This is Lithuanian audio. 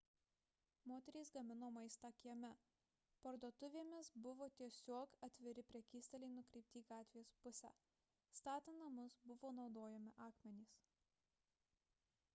moterys gamino maistą kieme parduotuvėmis buvo tiesiog atviri prekystaliai nukreipti į gatvės pusę statant namus buvo naudojami akmenys